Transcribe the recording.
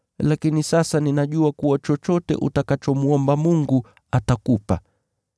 Lakini sasa ninajua kuwa chochote utakachomwomba Mungu, atakupa.”